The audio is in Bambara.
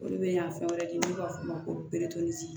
O de bɛ na fɛn wɛrɛ di n'u b'a fɔ o ma ko